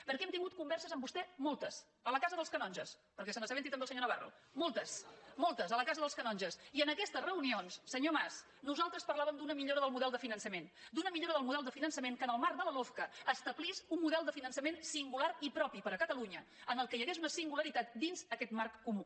perquè hem tingut converses amb vostè moltes a la casa dels canonges perquè se n’assabenti també el senyor navarro moltes a la casa dels canonges i en aquestes reunions senyor mas nosaltres parlàvem d’una millora del model de finançament d’una millora del model de finançament que en el marc de la lofca establís un model de finançament singular i propi per a catalunya en el qual hi hagués una singularitat dins aquest marc comú